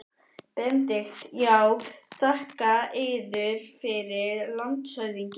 BENEDIKT: Já, þakka yður fyrir, landshöfðingi.